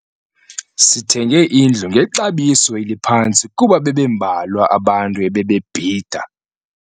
Sithenge indlu ngexabiso eliphantsi kuba bebembalwa abantu ebebebhida.